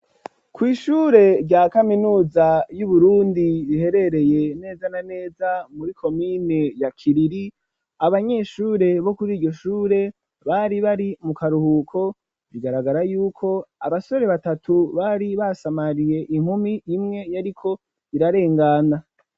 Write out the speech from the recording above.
kw'ishure rya kaminuza y'uburundi riherereye neza na neza muri komine ya kiriri, abanyeshure bo kuri iryo shure bari bari mu karuhuko bigaragara yuko abasore batatu bari basamariye inkumi imwe yariko irarengana.